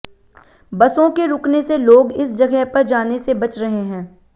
बसों के रुकने से लोग इस जगह पर जाने से बच रहे हैं